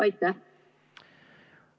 Aitäh!